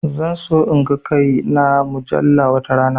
Zan so in ga kai na a mujalla watarana